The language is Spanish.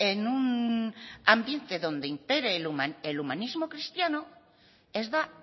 en un ambiente donde impere el humanismo cristiano ez da